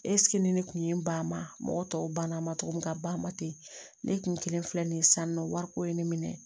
ni ne kun ye n ba ma mɔgɔ tɔw banna a ma cogo min na ka ban ma ten ne kun kelen filɛ nin ye sisan nɔ wariko ye ne minɛ